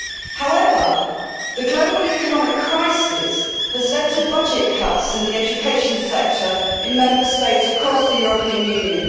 However, the global economic crisis has led to budget cuts in the education sector in Member States across the European Union.